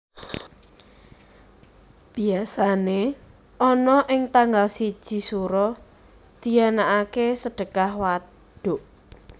Biasané ana ing tanggal siji Sura dianakaké Sedekah Waduk